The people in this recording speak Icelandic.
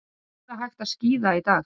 Víða hægt að skíða í dag